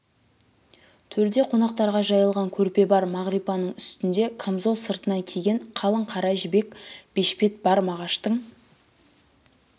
төрде қонақтарға жайылған көрпе бар мағрипаның үстінде камзол сыртынан киген қалың қара жібек бешпет бар мағаштың